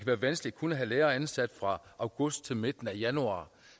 være vanskeligt kun at have lærere ansat fra august til midten af januar